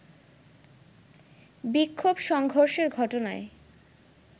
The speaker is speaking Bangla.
বিক্ষোভ-সংঘর্ষের ঘটনায়